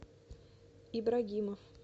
ибрагимов